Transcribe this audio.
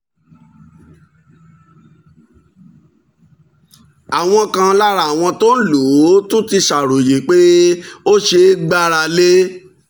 àwọn kan lára àwọn tó ń lò ó tún ti ṣàròyé pé ó ṣeé gbára lé